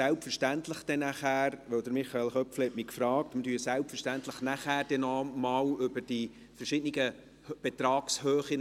Selbstverständlich sprechen wir nachher noch einmal über die verschiedenen Betragshöhen.